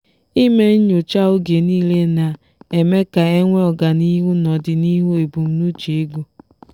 ịme nyocha oge niile na-eme ka enwee ọganihu n'odinihu embumnuche ego.